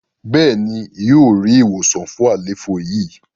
béèni yíò rí ìwòsàn fún àléfọ yi.